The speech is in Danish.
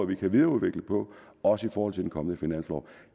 vi kan videreudvikle også i forhold til den kommende finanslov